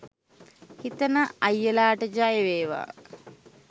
හිතන අයියලාට ජය වේවා